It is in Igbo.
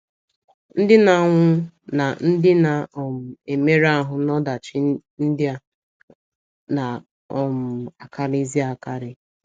Ndị na - anwụ na ndị na um - emerụ ahụ́ n’ọdachi ndị a na - um akarịzi akarị.